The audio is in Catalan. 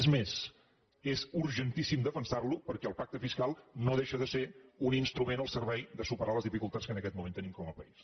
és més és urgentís·sim defensar·lo perquè el pacte fiscal no deixa de ser un instrument al servei de superar les dificultats que en aquest moment tenim com a país